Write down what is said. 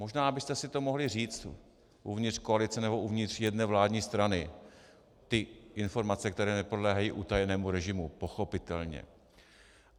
Možná byste si to mohli říct uvnitř koalice nebo uvnitř jedné vládní strany - ty informace, které nepodléhají utajenému režimu, pochopitelně.